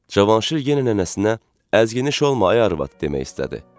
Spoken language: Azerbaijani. Cavanşir yenə nənəsinə "əzgin işləmə ay arvad" demək istədi.